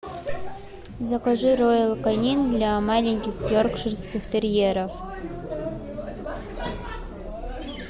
закажи роял канин для маленьких йоркширских терьеров